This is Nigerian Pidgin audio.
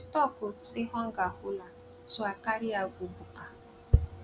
she tok um sey hunger hold her so i carry her go buka